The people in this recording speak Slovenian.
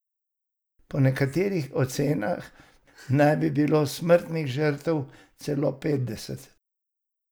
Po nekaterih ocenah naj bi bilo smrtnih žrtev celo petdeset.